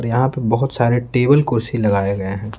यहां पे बहुत सारे टेबल कुर्सी लगाए गए हैं।